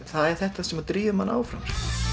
það er þetta sem drífur mann áfram